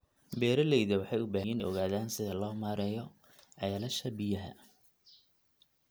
Beeralayda waxay u baahan yihiin inay ogaadaan sida loo maareeyo ceelasha biyaha.